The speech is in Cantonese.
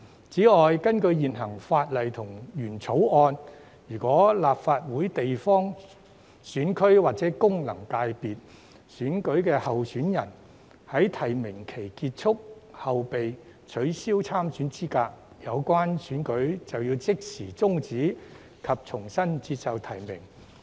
此外，根據現行法例及原來的《條例草案》，如果立法會地方選區或功能界別選舉的候選人在提名期結束後被取消參選資格，有關選舉就要即時終止及重新接受提名。